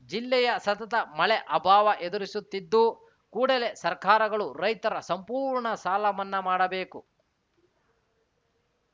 ಜಿಲ್ಲೆಯ ಸತತ ಮಳೆ ಅಭಾವ ಎದುರಿಸುತ್ತಿದ್ದು ಕೂಡಲೇ ಸರ್ಕಾರಗಳು ರೈತರ ಸಂಪೂರ್ಣ ಸಾಲಮನ್ನಾ ಮಾಡಬೇಕು